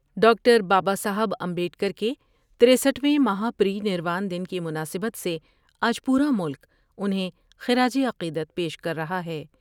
Doctor Baba Saheb Ambedkar کے ترسٹھ ویں مہا پری نروان دن کی مناسبت سے آج پورا ملک انہیں خراج عقیدت پیش کر رہا ہے ۔